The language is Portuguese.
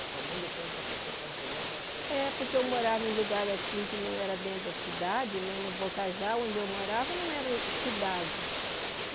A sua mãe deixou ele para ser seu companheiro, para você... É, porque eu morava em lugar assim, que não era dentro da cidade né, no Bocajá, onde eu morava, não era cidade.